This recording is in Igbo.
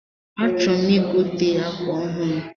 A chọrọm igote akwa ọhụrụ